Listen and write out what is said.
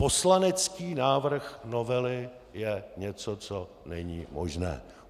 Poslanecký návrh novely je něco, co není možné.